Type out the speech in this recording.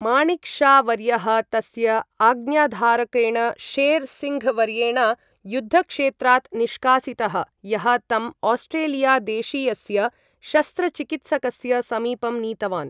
माणिक् शा वर्यः तस्य आज्ञाधारकेण शेर् सिङ्घ् वर्येण युद्धक्षेत्रात् निष्कासितः, यः तं आस्ट्रेलिया देशीयस्य शस्त्रचिकित्सकस्य समीपं नीतवान्।